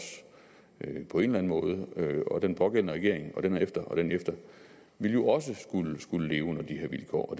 på en eller anden måde og den pågældende regering og den efter og den efter ville jo også skulle leve under de her vilkår og